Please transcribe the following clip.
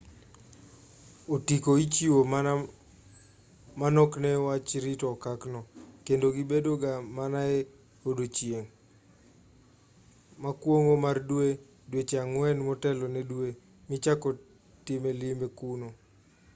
otiko ichiwo mana manok ne wach rito okak no kendo gibedo ga mana e odiechieng' mokuongo mar dwe dweche ang'wen motelo ne dwe michako time limbe kuno